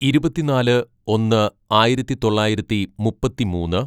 "ഇരുപത്തിന്നാല് ഒന്ന് ആയിരത്തിതൊള്ളായിരത്തി മുപ്പത്തിമൂന്ന്‌